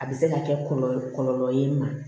A bɛ se ka kɛ kɔlɔlɔ kɔlɔ ye i ma